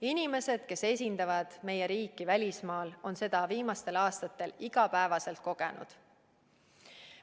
Inimesed, kes esindavad meie riiki välismaal, on seda viimastel aastatel igapäevaselt kogenud.